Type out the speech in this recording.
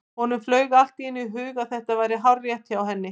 Honum flaug allt í einu í hug að þetta væri hárrétt hjá henni.